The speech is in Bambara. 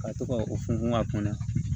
Ka to ka o funfun a kunna